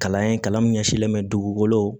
Kalan ye kalan min ɲɛsilen bɛ dugukolo